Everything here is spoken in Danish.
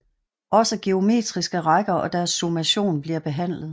Også geometriske rækker og deres summation bliver behandlet